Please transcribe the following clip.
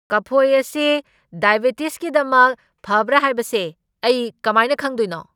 ꯀꯐꯣꯏ ꯑꯁꯤ ꯗꯥꯏꯕꯤꯇꯤꯁꯒꯤꯗꯃꯛ ꯐꯕ꯭ꯔꯥ ꯍꯥꯏꯕꯁꯦ ꯑꯩ ꯀꯃꯥꯏꯅ ꯈꯪꯗꯣꯏꯅꯣ?